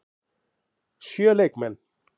Sjö leikmenn?